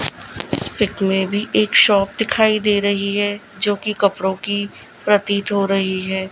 उस पिक में भी एक शॉप दिखाई दे रही है जो कि कपड़ों की प्रतीत हो रही है।